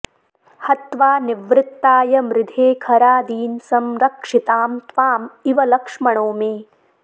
हत्वा निवृत्ताय मृधे खरादीन्संरक्षितां त्वां इव लक्ष्मणो मे